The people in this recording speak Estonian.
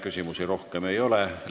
Küsimusi rohkem ei ole.